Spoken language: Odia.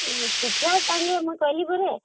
ମୁଁ କହିଲି ପରା